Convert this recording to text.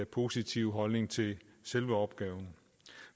positiv holdning til selve opgaven